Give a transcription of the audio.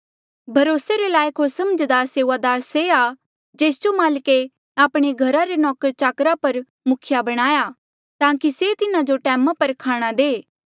भरोसे रे लायक होर समझदार सेऊआदार से आ जेस जो माल्के आपणे घर रे नौकरचाकरा पर मुखिया बणाया ताकि से तिन्हा जो टैमा पर खाणा दे